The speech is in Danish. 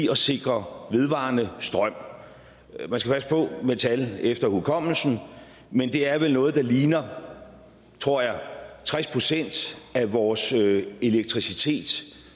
at sikre vedvarende strøm man skal passe på med tal efter hukommelsen men det er vel noget der ligner tror jeg tres procent af vores elektricitet